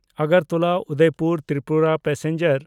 Agartala-Udaipur Tripura passenger